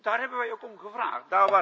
Daar hebben wij ook om gevraagd.